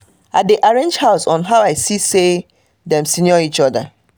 i dey arrange their house on how i see say dem senior each other